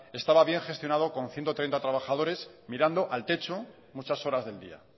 estaba bien gestionada con ciento treinta trabajadores mirando al techo muchas horas del día